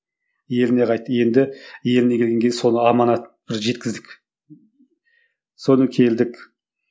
еліне қайтты енді еліне келгеннен кейін сол аманат біз жеткіздік соны келдік